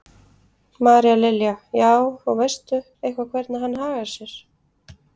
María Lilja: Já, og veistu eitthvað hvernig hann hagar sér?